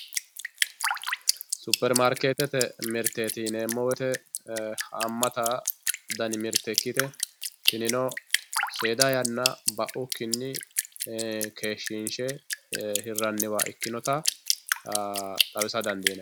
Super maariketete miriteti yineemo woyite haamate dani mirite ikkite tinino seeda yanna ba'ukkinni keeshi'nshe hiranniwa ikkinotta xawissa dandinanni